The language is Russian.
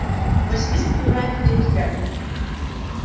василиск убивает людей взглядом